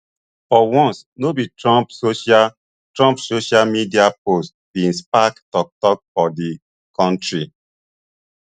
for once no be trump social trump social media post bin spark toktok for di kontri